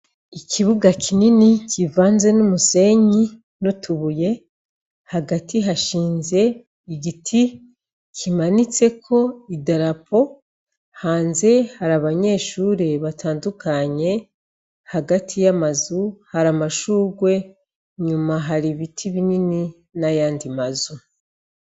Ikibuga kinini kivanze n'umusenyi n'utubuye hagati hashinze igiti kimanitseko idarapo hanze hari abanyeshure batandukanye hagati y'amazu hari amashurwe nyuma hari ibiti binini na yandi mazu.